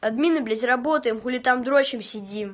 админы блять работаем хули там дрочим сидим